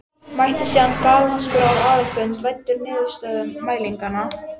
Mætti síðan galvaskur á aðalfund væddur niðurstöðum mælinganna.